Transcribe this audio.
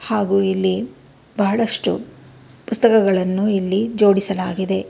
ಹಾಗೂ ಇಲ್ಲಿ ಬಹಳಷ್ಟು ಪುಸ್ತಕಗಳನ್ನು ಇಲ್ಲಿ ಜೋಡಿಸಲಾಗಿದೆ.